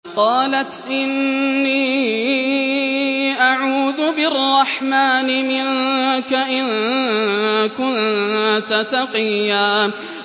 قَالَتْ إِنِّي أَعُوذُ بِالرَّحْمَٰنِ مِنكَ إِن كُنتَ تَقِيًّا